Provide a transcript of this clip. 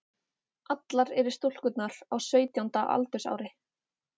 Allar eru stúlkurnar á sautjánda aldursári